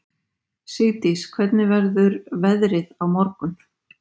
Sigdís, hvernig verður veðrið á morgun?